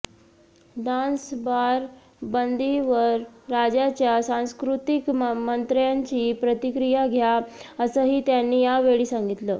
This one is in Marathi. डान्सबार बंदीवर राज्याच्या सांस्कृतीक मंत्र्यांची प्रतिक्रीया घ्या असंही त्यांनी यावेळी सांगितलं